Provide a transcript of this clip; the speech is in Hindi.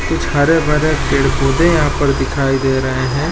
कुछ हरे-भरे पेड़-पौधे यहाँ पर दिखाई दे रहे हैं।